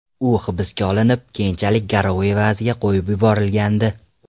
U hibsga olinib, keyinchalik garov evaziga qo‘yib yuborilgandi.